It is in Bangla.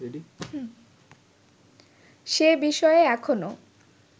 সে বিষয়ে এখনও